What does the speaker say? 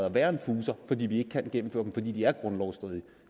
at være en fuser fordi vi ikke kan gennemføre dem fordi de er grundlovsstridige